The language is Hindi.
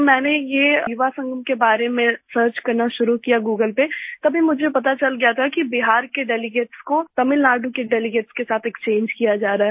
जब मैंने ये युवा संगम के बारे में सर्च करना शुरू किया गूगल पर तभी मुझे पता चल गया था कि बिहार के डेलीगेट्स को तमिलनाडु के डेलीगेट्स के साथ एक्सचेंज किया जा रहा है